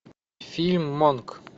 фильм монк